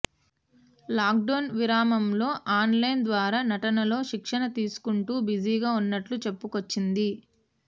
lockdown విరామంలో online ద్వారా నటనలో శిక్షణ తీసుకుంటూ బిజీగా ఉన్నట్లు చెప్పుకొచ్చింది